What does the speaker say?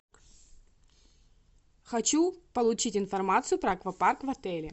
хочу получить информацию про аквапарк в отеле